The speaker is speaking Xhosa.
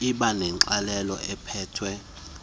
iba nenxalenye ephethwe